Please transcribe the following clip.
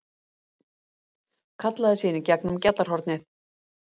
Kallaði síðan í gegnum gjallarhornið